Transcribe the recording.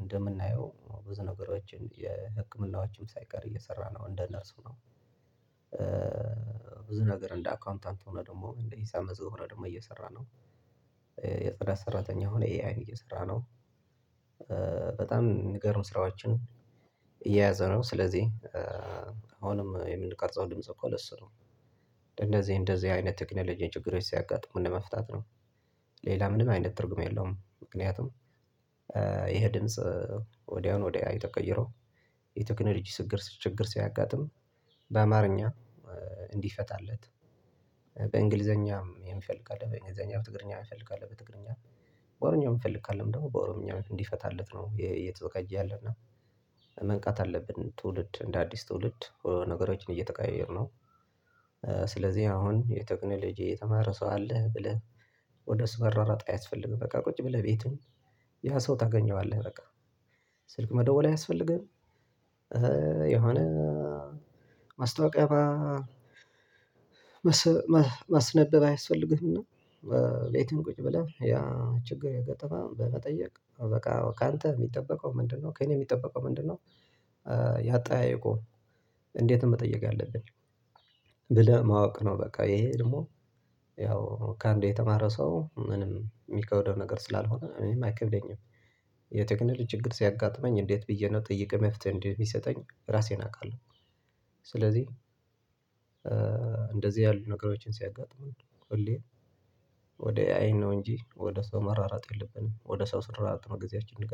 እንደምናየው ብዙ ነገሮችን የህክምናዎችም ሳይቀር እየሰራ ነው እንደነርሱ ነው። ብዙ ነገር እንደ አካውንታንት ሆነ ደግሞ እንደ ሂሳም መዘዋወር ዘውረድም እየሰራ ነው። የጽዳት ሰራተኛ ሆኖ ኤአይን እየሰራ ነው። በጣም ሚገርም ስራዎችን እየያዘ ነው። ስለዚህ አሁንም የምንቀርጸው ድምጽ እኮ ለሱ ነው። እንደዚህ እንደዚህ አይነት ቴክኖሎጂ ችግሮች ሲያጋጥሙ ለመፍታት ነው። ሌላ ምንም አይነት ትርጉም የለውም። ምክንያቱም ይሄ ድምጽ ወዲያውኑ ወደ ኤአይ ተቀይሮ የቴክኖሎጂ ችግር ችግር ሲያጋጥም በአማርኛ እንዲፈታለት በእንግሊዘኛም የሚፈልግ ካለ በእንግሊዘኛ በትግርኛ የሚፈልግ ካለ በትግርኛ በኦሮምኛ ሚፈልግ ካለም ደግሞ በኦሮምኛ እንዲፈታለት ነው። እየተዘጋጀ ያለ እና መንቃት አለብን ትውልድ እንደ አዲስ ትውልድ ነገሮችን እየተቀያየርነው። ስለዚህ አሁን የቴክኖሎጂ የተማረ ሰው አለ ብለህ ወደ እሱ ምሯሯጥ አያስፈልግም። በቃ ቁጭ ብለህ ቤቱን ያ ሰው ታገኘዋለህ በቃ ስልክ መደወል አያስፈልግህም። የሆነ ማስታወቂያ ማስነበብ አይስፈልግህም። እና ቤቱህ ቁጭ ብለህ ያ ችግር የገጠመህ በመጠየቅ በቃ ከአንተ የሚጠበቀው ምንድነው ከእኔ የሚጠበቀው ምንድነው? የአጠያየቁ እንዴት ነው መጠየቅ ያለብን። ብለህ ማወቅ ነው። በቃ ይሄ ደግሞ ያው ከአንዱ የተማረ ሰው ምንም የሚከብደው ነገር ስላልሆነ እኔም አይከብደኝም። የቴክኖሎጂ ችግር ሲያጋጥመኝ እንዴት ብዬ ነው ጠይቄ መፍትሄ እንደሚሰጠኝ ራሴን አውቃለሁ። ስለዚህ እንደዚህ ያሉ ነገሮችን ሲያጋጥሙን ሁሌ ወደ ኤአይን ነው እንጂ ወደ ሰው መሯሯጥ የለብንም። ወደ ሰው ስንሯሯጥ ነው ጊዜያችንን ምንገለው